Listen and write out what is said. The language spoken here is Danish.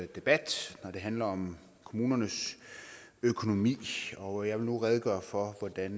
debat når det handler om kommunernes økonomi og jeg vil nu redegøre for hvordan